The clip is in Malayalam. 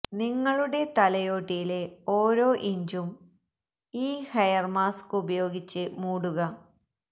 നിങ്ങളുടെ തലയോട്ടിയിലെ ഓരോ ഇഞ്ചും ഈ ഹെയര് മാസ്ക് ഉപയോഗിച്ച് മൂടുക